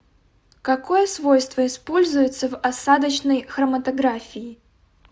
какое свойство используется в осадочной хроматографии